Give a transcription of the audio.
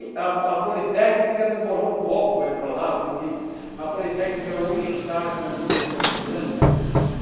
A a Politécnica demorou um pouco para ir para lá, porque a Politécnica hoje está com um número muito grande de alunos né.